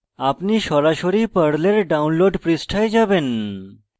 আপনি সরাসরি পর্লের download পৃষ্ঠায় যাবেন